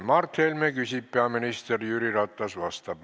Mart Helme küsib, peaminister Jüri Ratas vastab.